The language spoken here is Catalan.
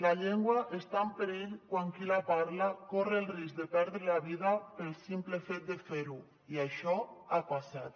la llengua està en perill quan qui la parla corre el risc de perdre la vida pel simple fet de fer ho i això ha passat